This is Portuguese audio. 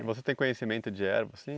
E você tem conhecimento de ervas, sim?